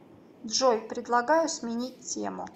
джой предлагаю сменить тему